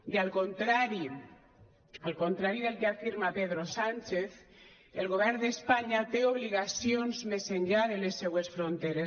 i al contrari al contrari del que afirma pedro sánchez el govern d’espanya té obligacions més enllà de les seues fronteres